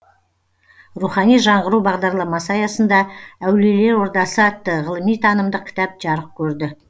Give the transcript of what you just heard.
рухани жаңғыру бағдарламасы аясында әулиелер ордасы атты ғылыми танымдық кітап жарық көрді